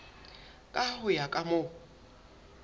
ka ho ya ka moo